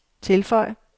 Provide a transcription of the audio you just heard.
tilføj